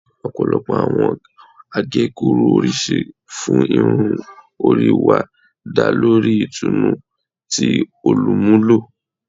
Ọpọlọpọ awọn agekuru oriṣiriṣi fun irun ori wa da lori itunu ti olumulo